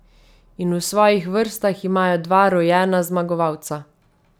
In v svojih vrstah imajo dva rojena zmagovalca.